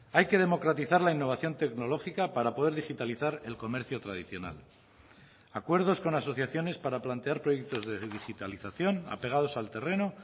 hay que democratizar la innovación tecnológica para poder digitalizar el comercio tradicional acuerdos con asociaciones para plantear proyectos de digitalización apegados al terreno